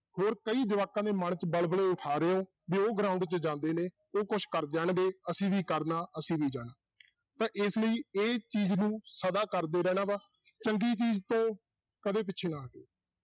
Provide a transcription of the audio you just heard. ਹੋਰ ਕਈ ਜਵਾਕਾਂ ਦੇ ਮਨ 'ਚ ਵਲਵਲੇ ਉਠਾ ਰਹੇ ਹੋ ਵੀ ਉਹ ground 'ਚ ਜਾਂਦੇ ਨੇ, ਉਹ ਕੁਛ ਕਰ ਜਾਣਗੇ ਅਸੀਂ ਵੀ ਕਰਨਾ ਅਸੀਂ ਵੀ ਜਾਣਾ ਤਾਂ ਇਸ ਲਈ ਇਹ ਚੀਜ਼ ਨੂੰ ਸਦਾ ਕਰਦੇ ਰਹਿਣਾ ਵਾ ਚੰਗੀ ਚੀਜ਼ ਤੋਂ ਕਦੇ ਪਿੱਛੇ ਨਾ ਹਟਿਓ।